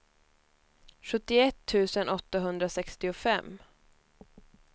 sjuttioett tusen åttahundrasextiofem